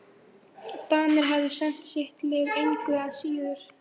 Danir hefðu sent sitt lið engu að síður.